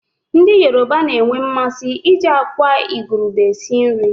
Ndị Yoroba na-enwe mmasị iji àkwá igurube esi nri.